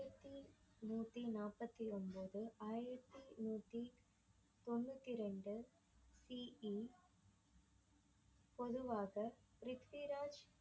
நூத்தி நாற்பத்தி ஒன்பது ஆயிரத்தி நூத்தி தொன்னூத்தி ரெண்டு BE பொதுவாக ப்ரித்விராஜ்